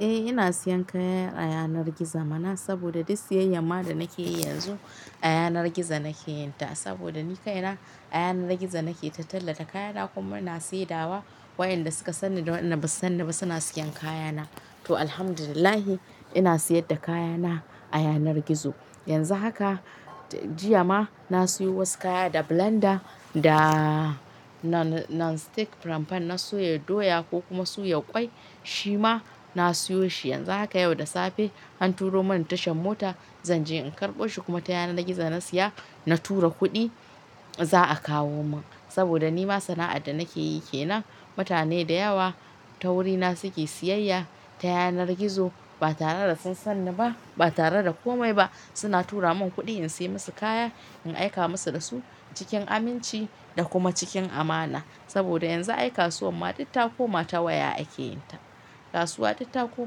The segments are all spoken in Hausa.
Eh ina siyan kaya a yanar gizo mana, saboda duk siyayyar ma da nake yi yanzu a yanar gizo nake yin ta. Saboda ni kaina a yanar gizo nake tallata kaya na kuma ina saidawa wayanda suka sanni da wanda ba su sanni ba suna siyan kaya na. To Alhamdulillah ina siyar da kaya na a yanar gizo. Yanzu haka jiya ma na siyo wasu kaya, da blender, da non stick frying pan na soya doya ko kuma suyar ƙwai, shi ma na siyo shi. Yanzu haka yau da safe an turo mun tashar mota zanje in karbo shi kuma ta yanar gizo na siya na tura kuɗi za a kawo min. Saboda nima sana'ar da nakeyi kenan, mutane da yawa ta wurina suke siyayya ta yanar gizo ba tare da sun san ni ba, ba tare da komai ba, suna tura mun kuɗi in sai musu kaya in aika musu da su cikin aminci da kuma cikin amana. Saboda yanzu ai kasuwar ma duk ta koma ta waya ake yin ta. Kasuwa ditta ko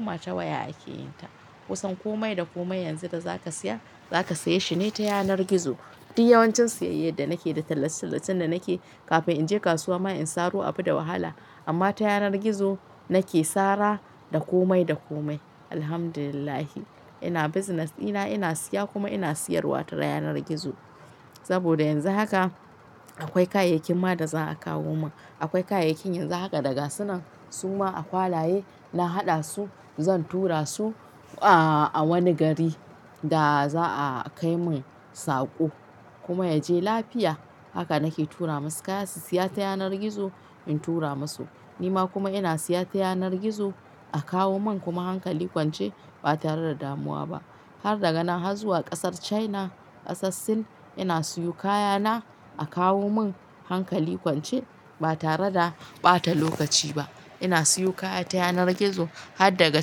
mata waya ake yin ta. Kusan komai da komai yanzu da zaka siya, za ka saye shi ne ta yanar gizo. Duk yawancin siyayyar da nake da tallace tallacen da nake kafin in je kasuwa ma in saro abu da wahala. Amma ta yanar gizo nake sara da komai da komai. Alhamdulillah ina business dina ina siya kuma ina siyarwa ta yanar gizo. Saboda yanzu haka akwai kayayyakin ma da za a kawo mun. Akwai kayayyakin yanzu haka da gasu nan suma a kwalaye na haɗa su zan tura su a wani gari da za'a kai mun sako kuma ya je lafiya. Haka nake tura masu kaya su siya ta yanar gizo in tura masu. Ni ma kuma ina siya ta yanar gizo a kawo mun kuma hankali kwance ba tare da damuwa ba. Har daga na har zuwa ƙasar China, kasar Sin, ina siyo kaya na a kawo mun hankali kwance ba tare da ɓata lokaci ba. Ina siyo kaya ta yanar gizo har daga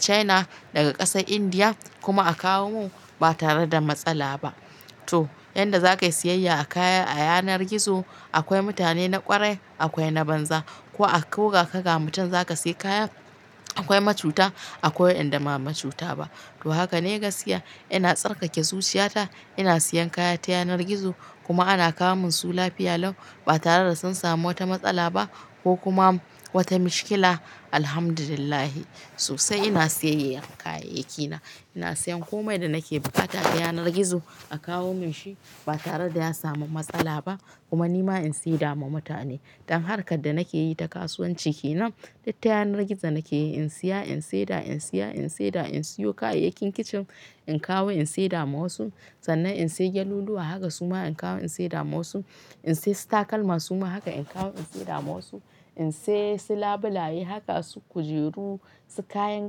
China, daga ƙasar Indiya kuma a kawo mun ba tare da matsala ba. To yanda za ka yi siyayya a kaya a yanar gizo akwai mutane na ƙwarai, akwai na banza. Ko a, ko gaka ga mutum zaka siya kaya akwai macuta akwai wanda ba macuta ba. To haka ne gaskiya ina tsarkake zuciyata ina siyan kaya ta yanar gizo kuma ana kawo mun su lafiya lau, ba tare da sun samu wata matsala ba ko kuma wata mashkila. Alhamdulillah sosai ina siyayyar kayayyaki na. Ina siyan komai da nake bukata ta yanar gizo a kawo mun shi ba tare da ya samu matsala ba kuma ni ma in saida ma mutane. Dan harkar da nake yi ta kasuwanci kenan duk ta yanar gizo nake yi. In siya in saida, in siya in saida. In siyo kayayyakin kicin in kawo in seda ma wasu. Sannan in sayi gyaluluwa haka suma in kawo in saida ma wasu. In sai su takalma suma haka in kawo in saida ma wasu. In sai su labulaye haka su kujeru, su kayan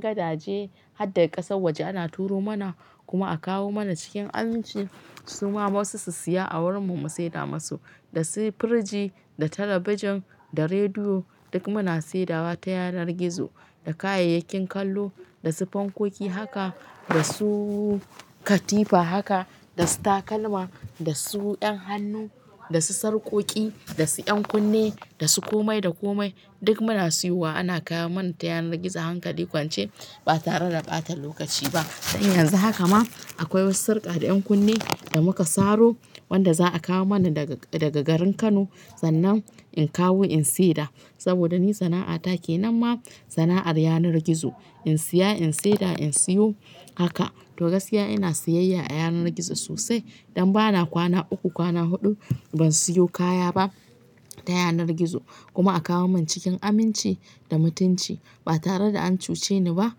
gadaje har daga ƙasar waje ana turo mana kuma a kawo mana cikin aminci suma wasu su siya a wurin mu mu saida masu. Da su firiji, da talabijin, da rediyo duk muna seda wa ta yanar gizo. Da kayayyakin kallo, da su fankoki haka, da su katifa haka, da su takalma, da su 'yan hannu, da su sarƙoƙi, da su 'yan kunne, da su komai da komai duk muna siyo wa ana kawo mana ta yanar gizo hankali kwance ba tare da ɓata lokaci ba. Dan yanzu haka ma akwai wasu sarƙa da 'yan kunne da muka saro wanda za a kawo mana daga garin Kano sannan in kawo in saida. Saboda ni sana'ata ke nan ma sana'ar yanar gizo. In siya in seda, in siyo haka. To gaskiya ina siyayya a yanar gizo sosai. Don ba na kwana uku, kwana huɗu ban siyo kaya ba ta yanar gizo kuma a kawo mun cikin aminci da mutunci ba tare da an cuce ni ba.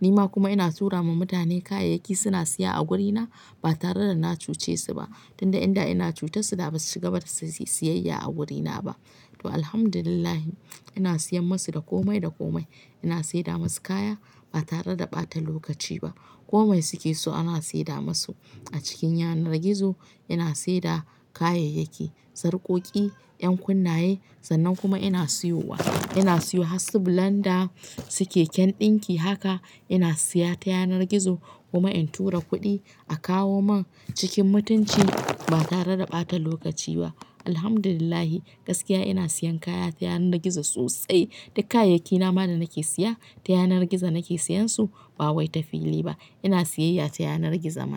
Ni ma kuma ina tura ma mutane kayayyaki suna siya a wurina ba tare da na cuce su ba. Tun da inda ina cutarsu da ba su cigaba da siyayya a wurina ba. To Alhamdulillah ina siyan masu da komai da komai. Ina saida musu kaya ba tare da ɓata lokaci ba. Komai suke so ana saida masu a cikin yanar gizo. Ina seda kayayyaki, sarƙoƙi, 'yan kunnaye sannan kuma ina siyowa. Ina siyo har su, blender, su keken ɗinki haka ina siya ta yanar gizo kuma in tura kuɗi a kawo mun cikin mutunci ba tare da ɓata lokaci ba. Alhamdulillah gaskiya ina siyan kaya ta yanar gizo sosai. Duk kayayyaki na ma da nake siya ta yanar gizo nake siyansu ba wai ta fili ba. Ina siyayya ta yanar gizo mana.